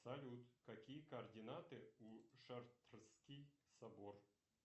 салют какие координаты у шартрский собор